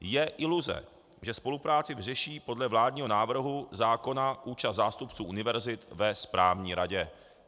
Je iluze, že spolupráci vyřeší podle vládního návrhu zákona účast zástupců univerzit ve správní radě.